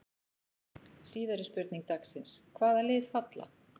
Síðari spurning dagsins: Hvaða lið falla?